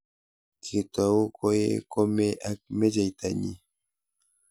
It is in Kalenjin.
Kitou koee komee ak mecheita nyii.